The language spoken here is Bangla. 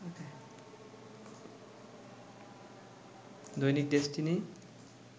দৈনিক ডেসটিনি